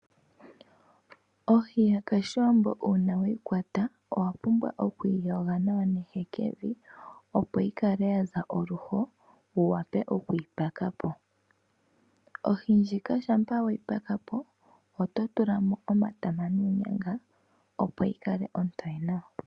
Ohi yoshiwambo uuna weyi kwata owa pumbwa okuyi yoga nehekevi opo yize othene wu vule okuyi paka po. Ohi shampa weyi pakapo oto tula mo omatama noonyanga opo yikale ontoye nawa.